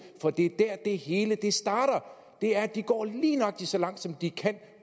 for det er der det hele starter de går lige nøjagtig så langt som de kan